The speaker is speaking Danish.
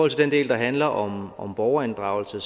til den del der handler om om borgerinddragelse